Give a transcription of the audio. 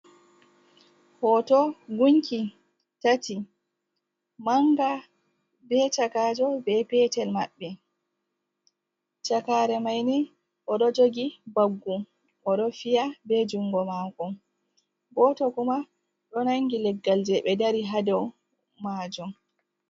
Hoto, gunki tati, manga be chakajo be petel maɓɓe, chakare maini, odo jogi baggu o do fiya be jungo mako, goto kuma do nangi leggal je be dari hado majom.